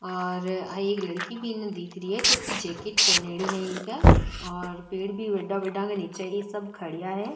और आ एक लड़की भी इने दिख री है जकी जैकेट पहनेडी है इन्के और पेड़ भी बड़ा बड़ा के निचे सब खड़िया है।